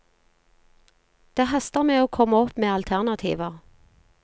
Det haster med å komme opp med alternativer.